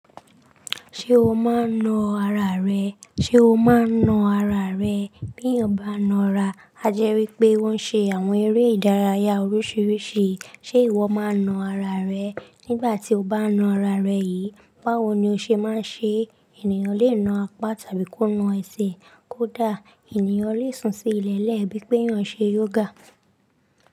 Ṣé o máa ń na ara rẹ? Ṣé o máa ń na ara rẹ? Bí èyán bá ń na ara, a jẹ́ wípé ó ń ṣe àwọn eré ìdárayá oríṣiríṣi. Ṣé ìwọ máa ń na ara rẹ? Nígbà tí o bá ń na ara rẹ yìí, báwo ni o ṣe máa ń ṣe é? Ènìyàn le na apá tàbí kó na ẹsẹ̀, kó dà. Ènìyàn le sùn sí ilẹ̀ lẹ́ẹ̀, bí pé yan ń ṣe yoga.